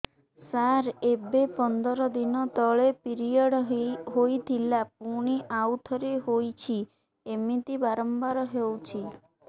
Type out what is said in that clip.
ସାର ଏବେ ପନ୍ଦର ଦିନ ତଳେ ପିରିଅଡ଼ ହୋଇଥିଲା ପୁଣି ଆଉଥରେ ହୋଇଛି ଏମିତି ବାରମ୍ବାର ହଉଛି